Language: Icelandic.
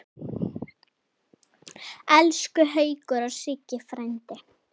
Elsku Haukur og Siggi frændi.